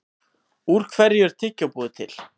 Úr hverju er tyggjó búið til?